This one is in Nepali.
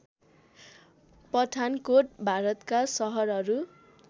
पठानकोट भारतका सहरहरू